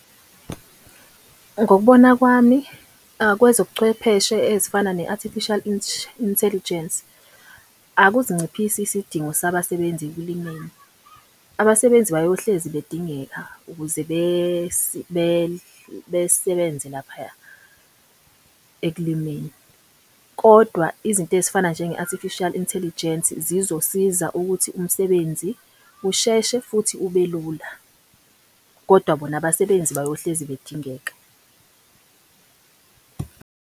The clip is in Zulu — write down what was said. Ngokubona kwami kwezobuchwepheshe ezifana ne-Artificial Intelligence, akuzinciphisi isidingo sabasebenzi ekulimeni. Abasebenzi bayohlezi bedingeka ukuze besebenze laphaya ekulimeni. Kodwa izinto ezifana njenge-Artificial Intelligence zizosiza ukuthi umsebenzi usheshe futhi ubelula. Kodwa bona abasebenzi bayohlezi bedingeka.